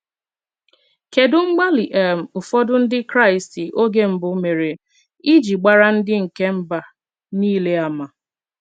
Kedụ mgbalị um ụfọdụ Ndị Kraịst oge mbụ mere iji gbaara ndị nke mba nile àmà?